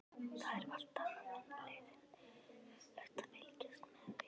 Það er allt annað en leiðinlegt að fylgjast með við